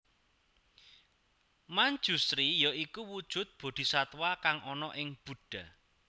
Manjusri ya iku wujud Boddhisatwa kang ana ing buddha